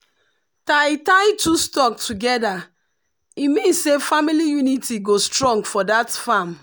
tie tie two stalk together e mean say family unity go strong for that farm.